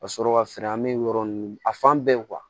Ka sɔrɔ ka feere an bɛ yɔrɔ ninnu a fan bɛɛ